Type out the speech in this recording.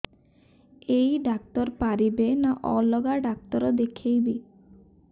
ଏଇ ଡ଼ାକ୍ତର ପାରିବେ ନା ଅଲଗା ଡ଼ାକ୍ତର ଦେଖେଇବି